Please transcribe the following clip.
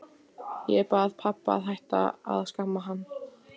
Ég bað pabba að hætta að skamma hann.